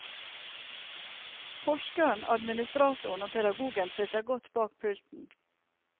Forskeren, administratoren og pedagogen sitter godt bak pulten.